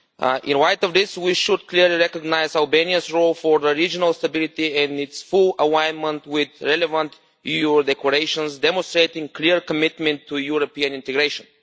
In the light of this, we should clearly recognise Albania's role for regional stability in its full alignment with relevant EU declarations, demonstrating clear commitment to European integration.